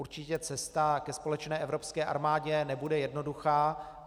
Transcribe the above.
Určitě cesta ke společné evropské armádě nebude jednoduchá.